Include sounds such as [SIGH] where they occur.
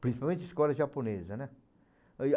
Principalmente escola japonesa, né? [UNINTELLIGIBLE]